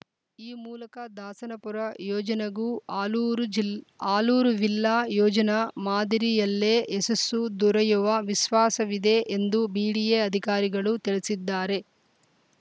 ಈ ಮೂಲಕ ದಾಸನಪುರ ಯೋಜನ ಗೂ ಆಲೂರು ಜಿಲ್ ಆಲೂರು ವಿಲ್ಲಾ ಯೋಜನ ಮಾದರಿಯಲ್ಲೇ ಯಶಸ್ಸು ದೊರೆಯುವ ವಿಶ್ವಾಸವಿದೆ ಎಂದು ಬಿಡಿಎ ಅಧಿಕಾರಿಗಳು ತಿಳಿಸಿದ್ದಾರೆ